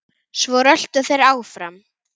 Svo röltu þeir áfram.